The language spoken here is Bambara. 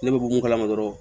Ne bɛ bɔ mun kalama dɔrɔn